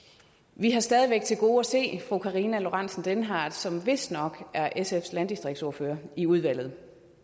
vi har stadig væk til gode at se fru karina lorentzen dehnhardt som vistnok er sfs landdistriktsordfører i udvalget